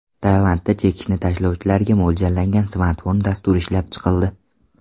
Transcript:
Tailandda chekishni tashlovchilarga mo‘ljallangan smartfon dasturi ishlab chiqildi.